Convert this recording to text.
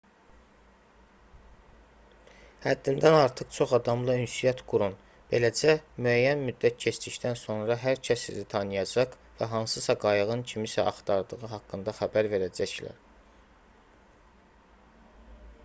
həddindən artıq çox adamla ünsiyyət qurun beləcə müəyyən müddət keçdikdən sonra hər kəs sizi tanıyacaq və hansısa qayığın kimisə axtardığı haqqında xəbər verəcəklər